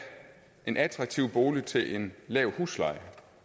en attraktiv bolig til en lav husleje